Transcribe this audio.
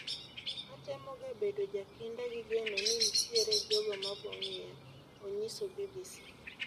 "Atemoga bedo jakinda gi geno ni ntiere jogo mabongiya,' onyiso BBC